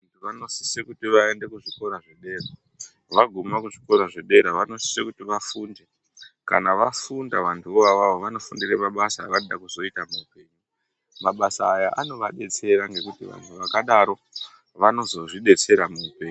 Vanosise kuti vaende kuzvikora zvedera vaguma kuzvikora zvedera vanosise kuti vafunde kana vafunda vantuvo avavo vanofundire mabasa avanode kuzoita muupenyu. Mabasa aya anovadetsera ngekuti vantu zvakadaro vanozozvidetsera muupenyu.